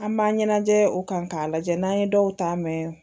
An b'a ɲɛnajɛ o kan k'a lajɛ n'an ye dɔw ta mɛ